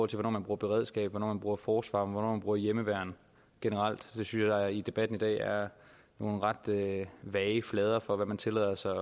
til hvornår man bruger beredskabet hvornår man bruger forsvaret hvornår man bruger hjemmeværnet generelt synes jeg i debatten i dag er nogle ret vage flader for hvad man tillader sig